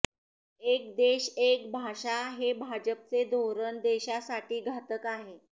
एक देश एक भाषा हे भाजपचे धोरण देशासाठी घातक आहे